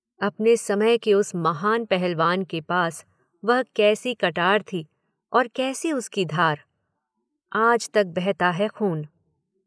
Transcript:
अपने समय के उस महान पहलवान के पास वह कैसी कटार थी, और कैसी उसकी धार, आज तक बहता है खून।